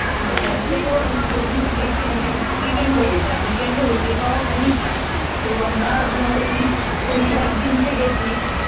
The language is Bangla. একে তো যেদিন কে গেছি উইকেন্ড এ গেছিউইকেন্ড এ হোটেল পাওয়া খুবই চাপ, তো আমরা ধর ওই শনিবার দিনকে গেছি